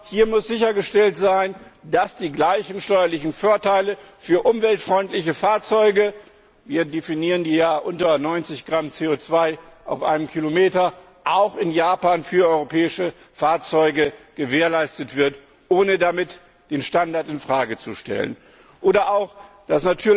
Hier muss sichergestellt sein, dass die gleichen steuerlichen Vorteile für umweltfreundliche Fahrzeuge wir definieren die ja unter 90 Gramm CO 2 auf einen Kilometer auch in Japan für europäische Fahrzeuge gewährleistet werden, ohne damit den Standard in Frage zu stellen. Natürlich müssen auch